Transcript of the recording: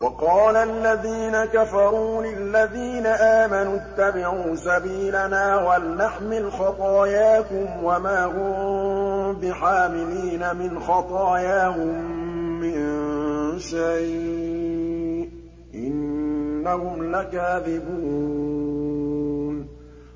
وَقَالَ الَّذِينَ كَفَرُوا لِلَّذِينَ آمَنُوا اتَّبِعُوا سَبِيلَنَا وَلْنَحْمِلْ خَطَايَاكُمْ وَمَا هُم بِحَامِلِينَ مِنْ خَطَايَاهُم مِّن شَيْءٍ ۖ إِنَّهُمْ لَكَاذِبُونَ